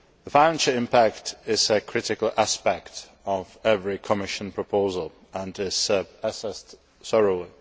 Financial impact is a critical aspect of every Commission proposal and is assessed thoroughly.